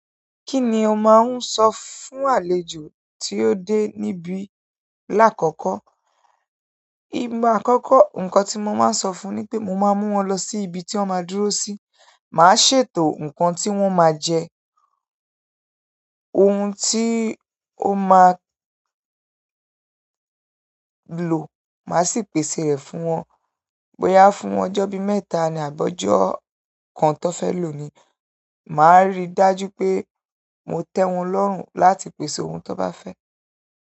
Kí ni o máa ń sọ fún àlejò tí ó dé níbí láàkọ́kọ́? Á àkọ́kọ́ nǹkan tí mo máa sọ fún ni pé mo máa mú wọn lọ sí ibi tí wọ́n máa dúró sí. Màá ṣètò nǹkan tí wọ́n máa jẹ, ohun ti o ma lo ma si pese re fún won. Bóyá fún ọjọ́ bí mẹ́ta ni àbọ̀jọ́ kan tí wọ́n fẹ́ lò ni. Màá rí i dájú pé mo tẹ́ wọn lọ́rùn láti pèsè ohun tí wọ́n bá fẹ́.